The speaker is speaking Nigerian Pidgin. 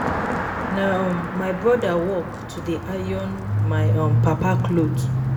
Na um my broda work to dey iron my um papa cloth.